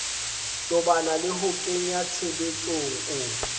tobana le ho kenyatshebetsong o